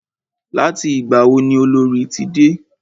Láti ìgbà wo ni Olorì ti dé?